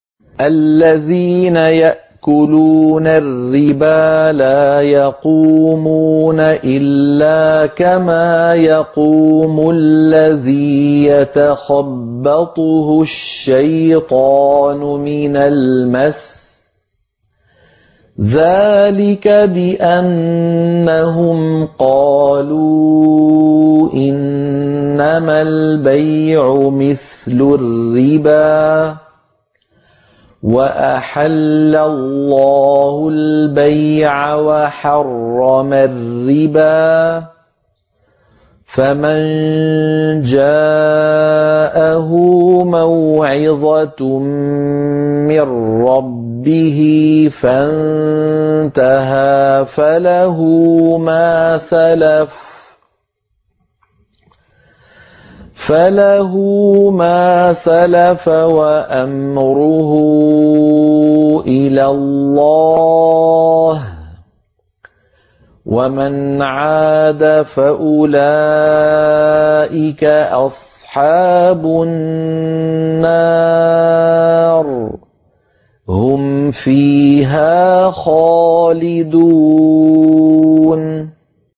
الَّذِينَ يَأْكُلُونَ الرِّبَا لَا يَقُومُونَ إِلَّا كَمَا يَقُومُ الَّذِي يَتَخَبَّطُهُ الشَّيْطَانُ مِنَ الْمَسِّ ۚ ذَٰلِكَ بِأَنَّهُمْ قَالُوا إِنَّمَا الْبَيْعُ مِثْلُ الرِّبَا ۗ وَأَحَلَّ اللَّهُ الْبَيْعَ وَحَرَّمَ الرِّبَا ۚ فَمَن جَاءَهُ مَوْعِظَةٌ مِّن رَّبِّهِ فَانتَهَىٰ فَلَهُ مَا سَلَفَ وَأَمْرُهُ إِلَى اللَّهِ ۖ وَمَنْ عَادَ فَأُولَٰئِكَ أَصْحَابُ النَّارِ ۖ هُمْ فِيهَا خَالِدُونَ